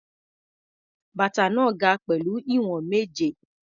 Bàtà náà ga pẹ̀lú ìwọ̀n méje.